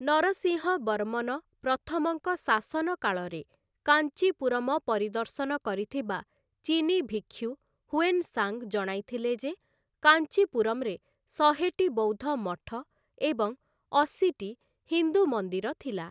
ନରସିଂହବର୍ମନ ପ୍ରଥମଙ୍କ ଶାସନ କାଳରେ କାଞ୍ଚିପୁରମ ପରିଦର୍ଶନ କରିଥିବା ଚୀନୀ ଭିକ୍ଷୁ ହୁଏନ୍‌ ସାଂ ଜଣାଇଥିଲେ ଯେ କାଞ୍ଚିପୁରମ୍‌ରେ ଶହେଟି ବୌଦ୍ଧ ମଠ ଏବଂ ଅଶୀଟି ହିନ୍ଦୁ ମନ୍ଦିର ଥିଲା ।